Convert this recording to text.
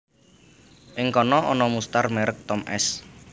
Ing kana ana mustar merek Tom s